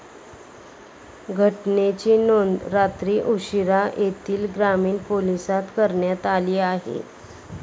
घटनेची नोंद रात्री उशीरा येथील ग्रामीण पोलीसांत करण्यात आली आहे.